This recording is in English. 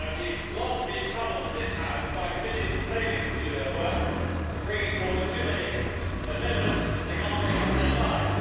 We have long been troubled in this House by committees failing to do their work and bringing forward too many amendments because they cannot make up their minds.